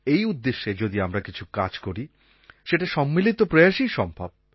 এই উদ্দেশ্যে যদি আমরা কিছু কাজ করি সেটা সম্মিলিত প্রয়াসেই সম্ভব